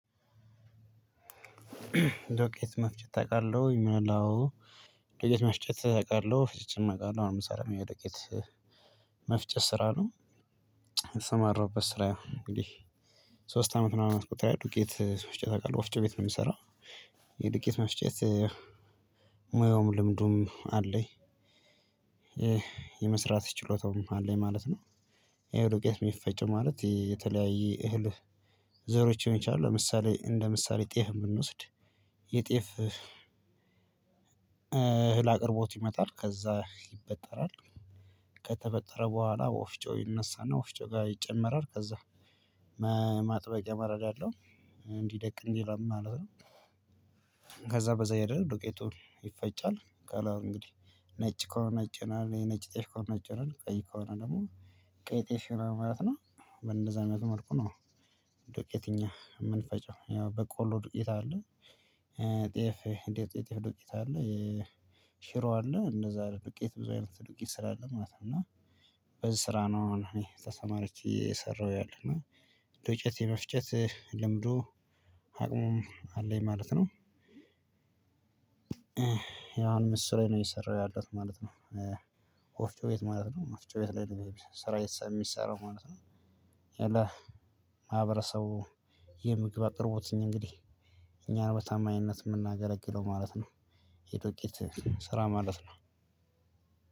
ዶቄት መፍጨት አውቃለሁ። ዶቄት መፍጨት አውቃለሁ አሁን የምሰራበት የዱቄት መፍጨት ስራ ነው። ስራ የተሰማራሁበት ስራ እንግዲህ ሶስት አመት ምናምን አስቆጥሯል ዱቄት መፍጨት አውቃለሁ ወፍጮ ቤት ነው የሚሰራው። የድቄት መፍጨት ሙያውም ልምዱም አለኝ። የመስራት ችሎታውም አለኝ ማለት ነው። ይሄ ቄስ የሚፈጨው ማለት የተለያየ እህል ዘሮች ሊሆኑ ይችላሉ። ለምሳሌ እንደ ምሳሌ ጤፍ ብንወስድ የጤፍ እህል አቅርቦት ይመጣል ከዛ ይበጠራል። ከተበጠረ በኋላ ወፍጮ ይነሳና ወፍጮ ጋር ይጨመራል ከዛ። መረዳለሁ እንዲደቅ እንዲረም እናደርጋለን። ከዛ በዛ ይሄድ ዱቄቱ ይፈጫል። ካላው እንግዲህ ነጭ ከሆነ ነጭ ነን የነጭ ጤሽ ከሆነ ነጭ ነን ቀይ ከሆነ ደግሞ ቀይ ጤፍ ይሆናል ማለት ነው። እንደዛ አይነት መልኩ ነው። ዱቄት እኛ የምንፈጨው ያው በቆሎ ዱቄት አለ። ጤፍ የጤፍ ዱቄት አለ። ሽሮ አለ እነዛ ዱቄት ብዙ አይነት ዱቄት ስራ አለ ማለት ነው። እና በዚህ ስራ ነው አሁን እኔ ተሰማረቼ እየሰራው ያለሁት። ዶቄት የመፍጨት ልምዱ አቅሙም አለኝ ማለት ነው። ምስራይ ነው የሰራው ያለሁት ማለት ነው። ወፍጮ ቤት ማለት ነው ወፍጮ ቤት ላይ ስራ የሚሰራው ማለት ነው። አለ ማህበረሰቡ የምግብ አቅርቦትን እንግዲህ እኛ በታማኝነት ነው የምናገለግለው ማለት ነው። የዶቄት ስራ ማለት ነው።